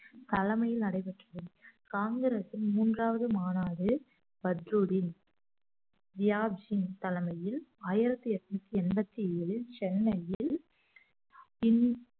தலைமையில் நடைபெற்றது காங்கிரஸின் மூன்றாவது மாநாடு பத்துருதின் வியாஜ்ஜின் தலைமையில் ஆயிரத்தி எட்நூத்தி எண்பத்தி ஏழில் சென்னையில் பின்